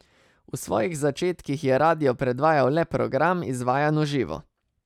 V svojih začetkih je radio predvajal le program, izvajan v živo.